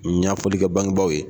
Ɲafɔli kɛ bangebaaw ye.